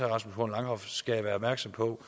rasmus horn langhoff skal være opmærksom på